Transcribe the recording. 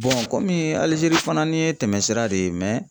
kɔmi Alizeri fanani ye tɛmɛsira de ye.